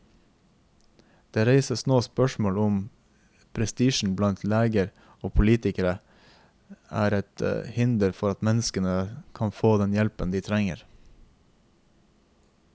Det reises nå spørsmål om prestisjen blant leger og politikere er et hinder for at mennesker kan få den hjelpen de trenger.